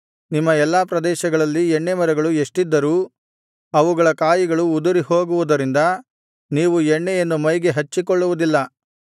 ನಿಮ್ಮ ಎಲ್ಲಾ ಪ್ರದೇಶಗಳಲ್ಲಿ ಎಣ್ಣೇಮರಗಳು ಎಷ್ಟಿದ್ದರೂ ಅವುಗಳ ಕಾಯಿಗಳು ಉದುರಿಹೋಗುವುದರಿಂದ ನೀವು ಎಣ್ಣೆಯನ್ನು ಮೈಗೆ ಹಚ್ಚಿಕೊಳ್ಳುವುದಿಲ್ಲ